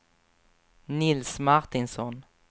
Nils Martinsson